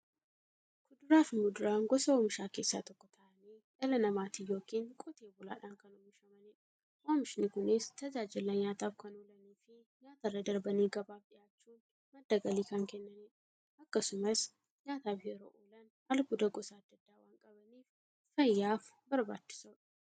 Kuduraafi muduraan gosa oomishaa keessaa tokko ta'anii, dhala namaatin yookiin Qotee bulaadhan kan oomishamaniidha. Oomishni Kunis, tajaajila nyaataf kan oolaniifi nyaatarra darbanii gabaaf dhiyaachuun madda galii kan kennaniidha. Akkasumas nyaataf yeroo oolan, albuuda gosa adda addaa waan qabaniif, fayyaaf barbaachisoodha.